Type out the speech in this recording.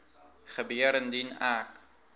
gebeur indien ek